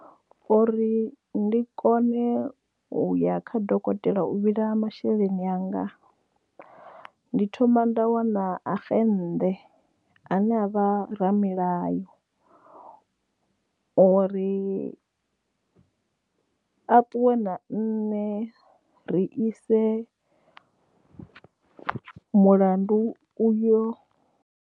Uri ndi kone uya kha dokotela u vhila masheleni anga ndi thoma nda wana axennḓe ane avha ramilayo ori a ṱuwe na nne ri ise mulandu uyo.